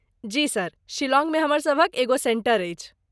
जी sir, शिलांगमे हमर सभक एगो सेंटर अछि।